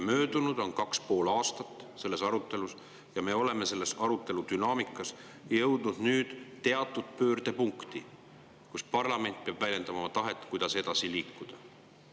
Möödunud on kaks ja pool aastat sellest arutelust ning me oleme nüüd selle arutelu dünaamikas jõudnud teatud pöördepunkti, kus parlament peab väljendama oma tahet, kuidas edasi liikuda.